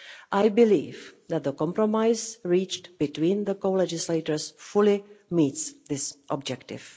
I believe that the compromise reached between the co-legislators fully meets this objective.